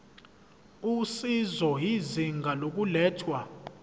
usizo izinga lokulethwa